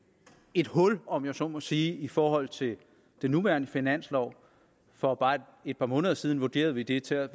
et hul om jeg så må sige i forhold til den nuværende finanslov for bare et par måneder siden vurderede vi det til at